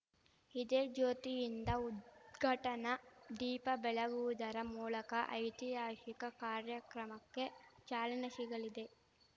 ಇದೇ ಜ್ಯೋತಿಯಿಂದ ಉದ್ಘಾಟನಾ ದೀಪ ಬೆಳಗುವುದರ ಮೂಳಕ ಐತಿಹಾಶಿಕ ಕಾರ್ಯಕ್ರಮಕ್ಕೆ ಚಾಲನೆ ಶಿಗಲಿದೆ